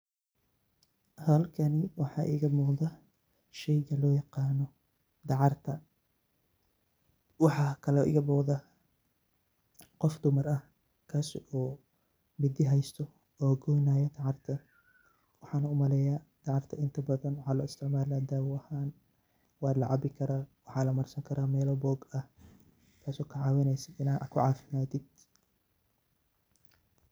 Halkan waxaa iga muuqda shey lo yaqaano dacar, waxakalo iga muqda qof dumar ah, sidokale dacarta waxa lo isticmali karaa dawo ahaan.